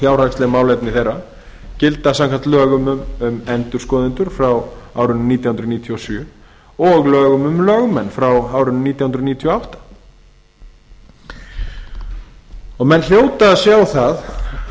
fjárhagsleg málefni þeirra gilda samkvæmt lögum um endurskoðendur frá árinu nítján hundruð níutíu og sjö og lögum um lögmenn frá árinu nítján hundruð níutíu og átta menn hljóta að sjá það